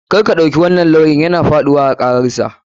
KArka ɗauki wannan lawyan yana faɗuwa a kararsa.